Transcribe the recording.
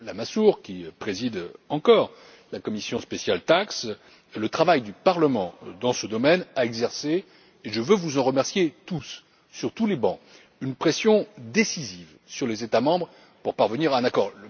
Lamassoure qui préside encore la commission spéciale TAXE le travail du Parlement dans ce domaine a exercé et je veux vous en remercier sur tous les bancs une pression décisive sur les États membres pour parvenir à un accord.